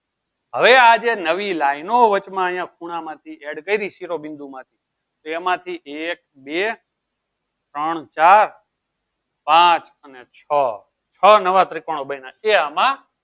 હવે આજે નવી line નો વચમાં અહિયાં ખૂણામાંથી add કરી શિરોબિંદુમાંથી તો એક બે ત્રણ ચાર પાંચ અને છ. છ નવા ત્રીકોનો બન્યા એ આમાં